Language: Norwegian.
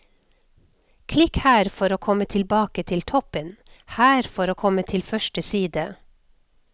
Klikk her for å komme tilbake til toppen, her for å komme til første side.